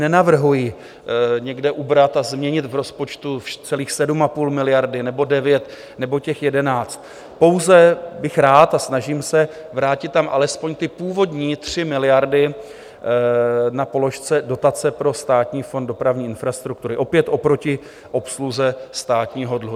Nenavrhuji někde ubrat a změnit v rozpočtu celých 7,5 miliard nebo 9 nebo těch 11, pouze bych rád, a snažím se, vrátit tam alespoň ty původní 3 miliardy na položce Dotace pro Státní fond dopravní infrastruktury, opět oproti obsluze státního dluhu.